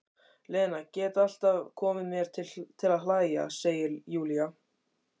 Lena gat alltaf komið mér til að hlæja, segir Júlía.